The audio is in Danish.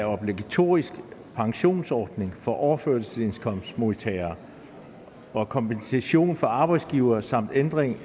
obligatorisk pensionsordning for overførselsindkomstmodtagere og kompensation til arbejdsgivere samt ændring